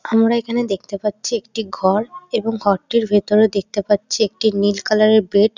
আমরা এখানে দেখতে পাচ্ছি একটি ঘর এবং ঘরটির ভেতরে দেখতে পাচ্ছি একটি নীল কালার -এর বেড ।